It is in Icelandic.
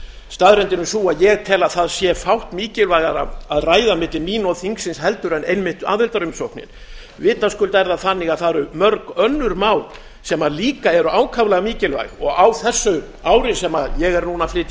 staðreyndin er sú að ég tel að það sé fátt mikilvægara að ræða milli mín og þingsins en einmitt aðildarumsóknin vitaskuld er það þannig að það eru mörg önnur mál sem líka eru ákaflega mikilvæg og á þessu ári sem ég er núna að flytja